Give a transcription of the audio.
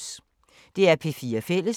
DR P4 Fælles